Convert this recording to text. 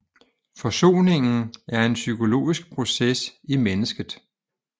Forsoningen er en psykologisk proces i mennesket